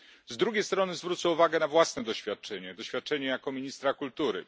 Z drugiej strony, zwrócę uwagę na własne doświadczenie doświadczenie jako ministra kultury.